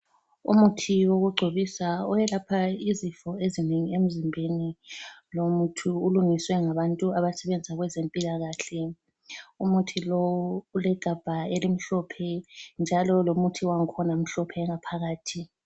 Umuthi wokugcobisa owelapha izifo ezinengi emzimbeni. Lo muthi ulungiswe ngabantu abasebenza kwezempilakahle. Umuthi lowu ulegabha elimhlophe njalo lomuthi wakhona mhlophe ngaphakathi.